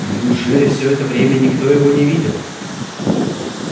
неужели все это время никто его не видел